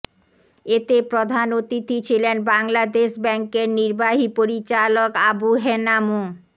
এতে প্রধান অতিথি ছিলেন বাংলাদেশ ব্যাংকের নির্বাহী পরিচালক আবু হেনা মো